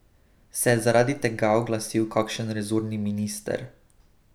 Se je zaradi tega oglasil kakšen resorni minister?